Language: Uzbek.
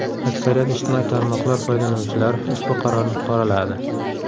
Aksariyat ijtimoiy tarmoqlar foydalanuvchilari ushbu qarorni qoraladi.